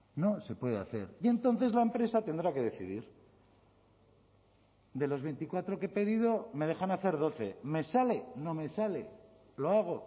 no se puede hacer y entonces la empresa tendrá que decidir de los veinticuatro que he pedido me dejan hacer doce me sale no me sale lo hago